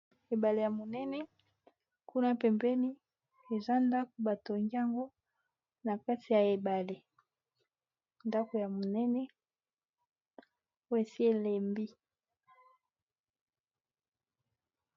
Ebale ya monene kuna pembeni eza ndako bato ngyango na kati ya ebale ndako ya monene oyo esi elembi